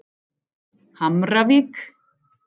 Hamravík